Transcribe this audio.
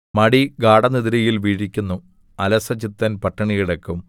മടി ഗാഢനിദ്രയിൽ വീഴിക്കുന്നു അലസചിത്തൻ പട്ടിണികിടക്കും